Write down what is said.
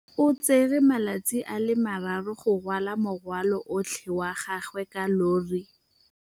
O tsere malatsi a le marraro go rwala morwalo otlhe wa gagwe ka llori.